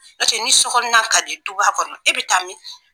N'o tɛ ni sokɔnɔna ka di duba kɔnɔ e bɛ taa min